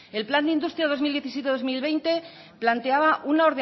el plan industria dos mil diecisiete dos mil veinte planteaba